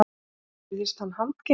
Virtist hann handgenginn